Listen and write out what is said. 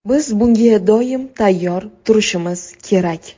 Biz bunga doim tayyor turishimiz kerak.